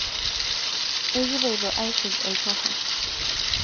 ekipoito aisuj olchorro